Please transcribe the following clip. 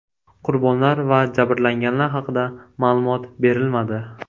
Qurbonlar va jabrlanganlar haqida ma’lumot berilmadi.